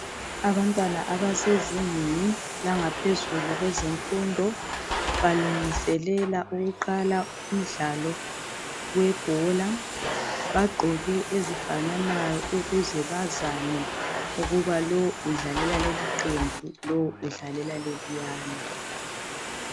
Abantwana abasezingeni langaphezulu lezemfundo balungiselela ukuqala umdlalo webhola bagqoke ezifananayo ukuze bazane ukuba lo udlalela liphi iqembu lo udlalela leliyana.